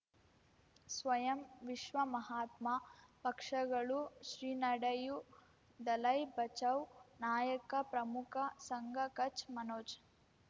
ಸ್ವಯಂ ವಿಶ್ವ ಮಹಾತ್ಮ ಪಕ್ಷಗಳು ಶ್ರೀ ನಡೆಯೂ ದಲೈ ಬಚೌ ನಾಯಕ ಪ್ರಮುಖ ಸಂಘ ಕಚ್ ಮನೋಜ್